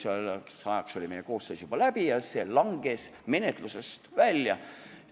Selleks ajaks oli koosseisu töö juba läbi ja see eelnõu langes menetlusest välja.